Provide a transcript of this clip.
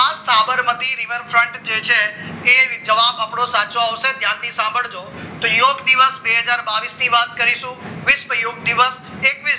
આ સાબરમતી રિવરફ્રન્ટ જે છે એ જવાબ આપણો સાચો આવશે અને ધ્યાનથી સાંભળજો તો યોગ દિવસ બે હજાર બાવીસ ની વાત કરીએ વિશ્વ યોગ દિવસ એકવીસ